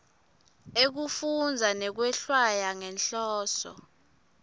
ekufundza nekwehlwaya ngenhloso